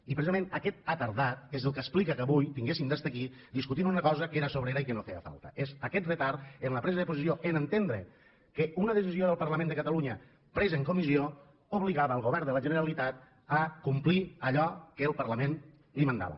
i precisament aquest ha tardat és el que explica que avui haguéssem d’estar aquí discutint una cosa que era sobrera i que no feia falta és aquest retard en la presa de posició a entendre que una decisió del parlament de catalunya presa en comissió obligava el govern de la generalitat a complir allò que el parlament li manava